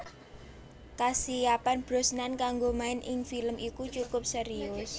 Kasiapan Brosnan kanggo main ing film iku cukup serius